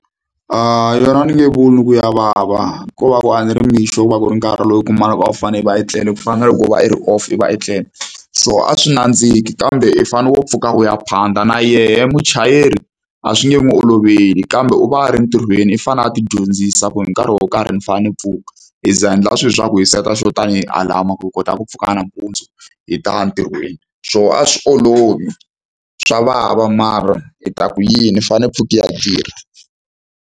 Yona a ni nge vuli ku ya vava ko va ku a ni ri mixo ku va ku ri nkarhi lowu u kumaka a wu fane va etlela ku fana na loko va i ri off i va etlela so a swi nandziki kambe i fane u pfuka u ya phanda na yehe muchayeri a swi nge n'wi oloveli kambe u va a ri entirhweni i fanele a ti dyondzisa ku hi nkarhi wo karhi ni fanele ni pfuka hi za a endla swilo swa ku hi set-a swo tanihi alarm ku kota ku pfuka nampundzu hi taya ntirhweni swo a swi olovi swa vava mara hi ta ku yini i fanele pfuka i ya tirha.